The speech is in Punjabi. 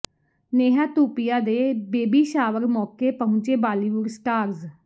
ਨੇਹਾ ਧੂਪੀਆ ਦੇ ਬੇਬੀ ਸ਼ਾਵਰ ਮੌਕੇ ਪਹੁੰਚੇ ਬਾਲੀਵੁੱਡ ਸਟਾਰਸ